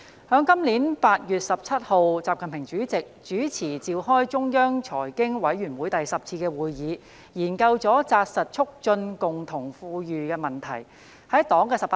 在今年8月17日，習近平主席主持召開中央財經委員會第十次會議，研究了扎實促進共同富裕的問題。